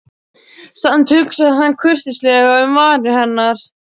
Samt hugsaði hann kurteislega um varir hennar.